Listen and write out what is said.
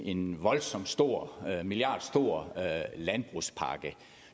en voldsomt stor en milliardstor landbrugspakke